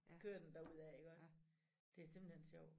Kører den der ud af iggås det simpelthen sjovt